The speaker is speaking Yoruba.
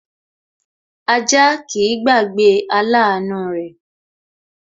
Ajá kìí gbàgbé aláàánú rẹ̀